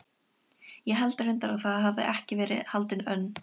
Ég held reyndar að það hafi ekki verið haldin önn